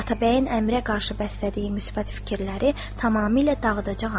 Atabəyin əmirə qarşı bəslədiyi müsbət fikirləri tamamilə dağıdacağam.